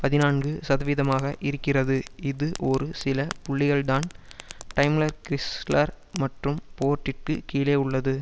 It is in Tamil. பதினான்கு சதவீதமாக இருக்கிறது இது ஒரு சில புள்ளிகள்தான் டைம்ளர்கிறிஸ்லர் மற்றும் போர்ட்டிற்கு கீழே உள்ளது